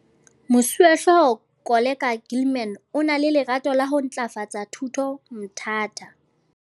Moswehlooho Koleka Gilman o na le lerato la ho ntlafatsa thuto Mthatha.